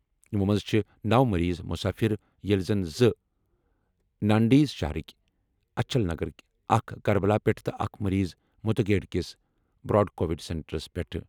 یِمو منٛزٕ چھِ نو مٔریٖض مُسافِر، ییٚلہِ زن زٕ ناندیڑ شہرٕکۍ اچھل نَگرٕکہِ ، اَکھ کربلا پٮ۪ٹھٕ تہٕ اَکھ مٔریٖض مدھکھیڈ کِس براڈ کووِڈ سینٹرٕ پٮ۪ٹھٕ ۔